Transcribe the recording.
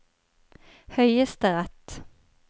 høyesterett